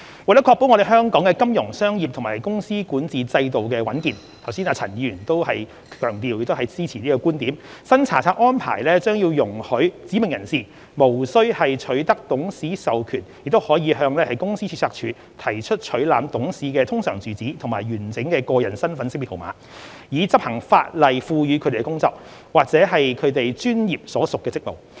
為確保香港的金融、商業及公司管治制度的穩健，剛才陳振英議員亦有強調並支持這個觀點，新查冊安排將容許"指明人士"無須取得董事授權亦可向公司註冊處提出取覽董事的通常住址及完整個人身份識別號碼，以執行法例賦予他們的工作，或其專業所屬的職務。